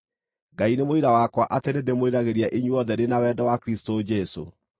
Ngai nĩ mũira wakwa atĩ nĩndĩmwĩriragĩria inyuothe ndĩ na wendo wa Kristũ Jesũ.